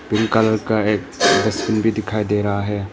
Green colour का एक तस्वीर दिखाई दे रहा है।